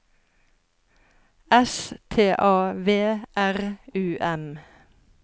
S T A V R U M